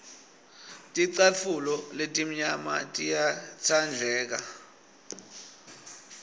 ticatfulo letimnyama tiyatsandleka